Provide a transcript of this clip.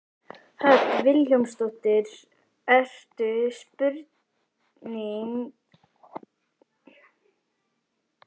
Hödd Vilhjálmsdóttir: Ertu sprunginn alveg?